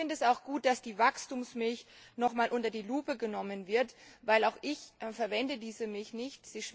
Ich finde es auch gut, dass die Wachstumsmilch nochmals unter die Lupe genommen wird, denn auch ich verwende diese Milch nicht.